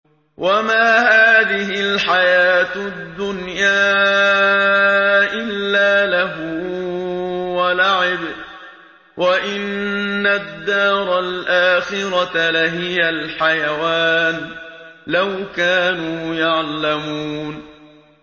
وَمَا هَٰذِهِ الْحَيَاةُ الدُّنْيَا إِلَّا لَهْوٌ وَلَعِبٌ ۚ وَإِنَّ الدَّارَ الْآخِرَةَ لَهِيَ الْحَيَوَانُ ۚ لَوْ كَانُوا يَعْلَمُونَ